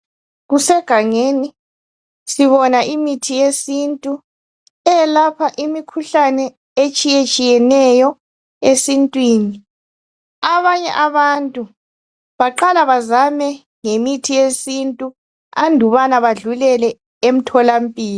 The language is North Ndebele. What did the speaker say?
Imithi yesintu eyelapha imikhuhlane etshiya tshiyeneyo esintwini abanye abantu abanye abantu baqale bezame ngemithi yesintu andukubana badlulele emthola mpilo